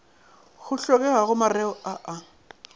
go hlokegago mareo a a